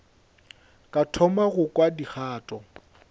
ka thoma go kwa dikgato